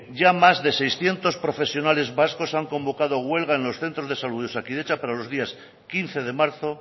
ya más de seiscientos profesionales vascos han convocado huelga en los centros de salud de osakidetza para los días quince de marzo